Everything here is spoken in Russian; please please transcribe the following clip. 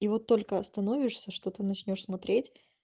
и вот только остановишься что ты начнёшь смотреть